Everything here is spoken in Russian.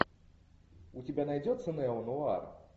у тебя найдется неонуар